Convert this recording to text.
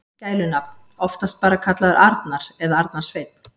Gælunafn: Oftast bara kallaður Arnar eða Arnar Sveinn.